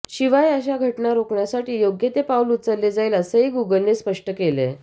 शिवाय अशा घटना रोखण्यासाठी योग्य ते पाऊल उचलले जाईल असंही गूगलनं स्पष्ट केलंय